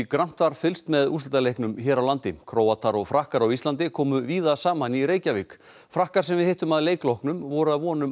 grannt var fylgst með úrslitaleiknum hér á landi Króatar og Frakkar á Íslandi komu víða saman í Reykjavík frakkar sem við hittum að leik loknum voru að vonum